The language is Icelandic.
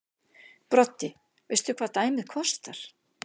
Broddi: Veistu hvað dæmið kostar?